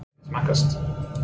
Hvernig smakkast?